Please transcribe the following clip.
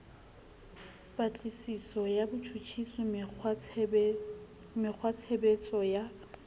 patlisiso ya botjhutjhisi mekgwatshebetso ya